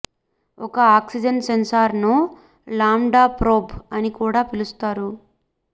ఒక ఆక్సిజన్ సెన్సార్ను lambda probe అని కూడా పిలుస్తారు